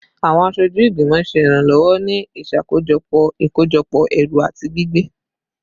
Awọn aṣoju igbimọ ṣe iranlọwọ ni iṣakojọpọ ikojọpọ ẹru ati gbigbe